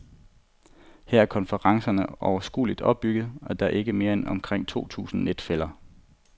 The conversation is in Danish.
Her er konferencerne overskueligt opbygget, og der er ikke mere end omkring to tusind netfæller.